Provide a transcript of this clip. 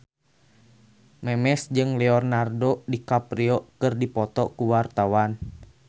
Memes jeung Leonardo DiCaprio keur dipoto ku wartawan